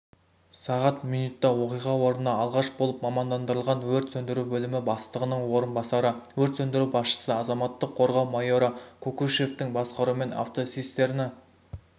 сағат минутта оқиға орынына алғаш болып мамандандырылған өрт сөндіру бөлімі бастығының орынбасары өрт сөндіру басшысы азаматтық қорғау майоры кокушевтің басқаруымен автоцистерні